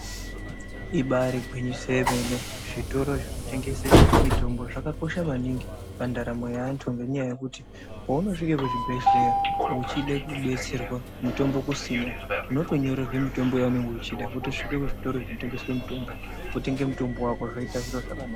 Ibari gwinyiso remene zvitoro zvinotengese mitombo ngenyaya yekuti paunozvike kuzvibhedhlera uchida kudetserwa mutimbo kusina unot onyorerwa mutombo wainenge uchida wotosvike kuzvitoro zvinotengesa mutombo wotenge mutombo wako zvoita zviro zvakanaka.